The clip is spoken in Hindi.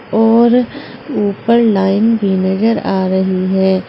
और ऊपर लाइन भी नजर आ रही है।